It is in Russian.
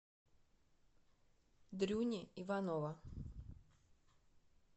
дрюни иванова